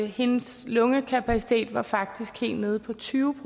hendes lungekapacitet var faktisk helt nede på tyve